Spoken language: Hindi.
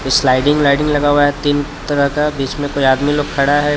कुछ स्लाइडिंग लगा हुआ हे तीन तरह का बीचमे कोई आदमी लोग खड़ा हे.